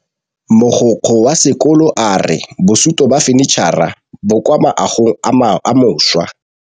Mogokgo wa sekolo a re bosutô ba fanitšhara bo kwa moagong o mošwa.